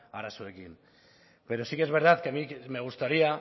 arazoekin pero sí que es verdad que a mí me gustaría